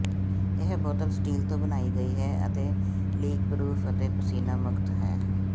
ਇਹ ਬੋਤਲ ਸਟੀਲ ਤੋਂ ਬਣਾਈ ਗਈ ਹੈ ਅਤੇ ਲੀਕਪ੍ਰੌਫ ਅਤੇ ਪਸੀਨਾ ਮੁਕਤ ਹੈ